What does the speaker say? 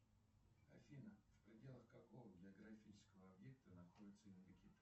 афина в пределах какого географического объекта находится индокитай